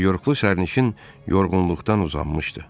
Nyu-Yorklu sərnişin yorğunluqdan uzanmışdı.